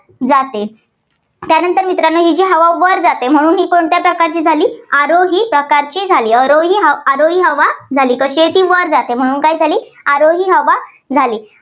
जाते. त्यानंतर मित्रांनो ही जी हवा वर जाते म्हणून ही कोणत्या प्रकारचे झाली? अरोही प्रकारची झाली. अरोही ~अरोही हवा, कशी आहे ती? वर जाते. म्हणून काय झाली अरोही हवा झाली.